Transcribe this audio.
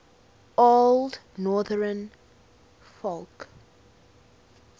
old northern folk